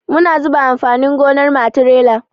Muna zuba amfanin gonar mu a tirela.